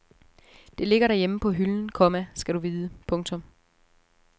Det ligger derhjemme på hylden, komma skal du vide. punktum